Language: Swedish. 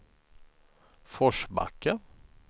Forsbacka